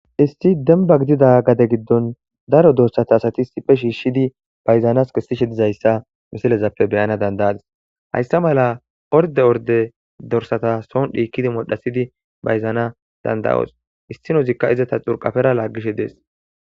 isti demba gidida gade giddon daro dorsata asati sifhe shiishidi bayzanas kissishe dizayssa misilezappe beyana dandayadis hayssa mala orde orde dorsata soon dhiikidi modhasidi bayzana dandayoos issinozikka izata xurqafera laaggishe dees